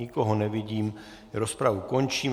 Nikoho nevidím, rozpravu končím.